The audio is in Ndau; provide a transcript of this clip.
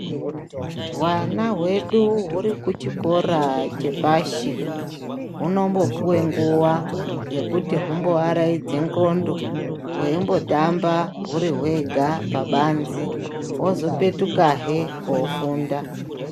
Hwana hwedu huri kuchikora chepashi hunombopuwe nguwa yekuti humboaraidza ndxondo hweimbotambe hwega huri pabanze hozopetukahe kofunda.